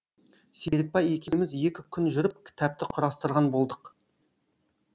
серікбай екеуміз екі күн жүріп кітапты құрастырған болдық